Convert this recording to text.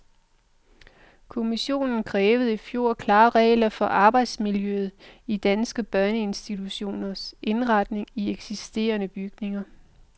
Kommissionen krævede i fjor klare regler for arbejdsmiljøet i danske børneinstitutioner indrettet i eksisterende bygninger.